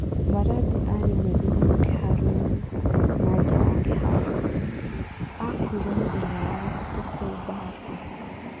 Maradi arĩ mũgĩ mũno kĩharo-inĩ na nja wa kĩharo, aakuire mũthenya wa gatatu, kũu Bahati.